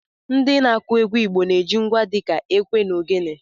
Ndị na-akụ egwu Igbo na-eji ngwa dịka ekwe na ogene.